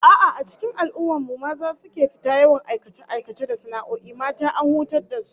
A'a, a cikin al'ummar mu maza su suke fita yawan aikace-aikace da sana'o'i, mata an hutar da su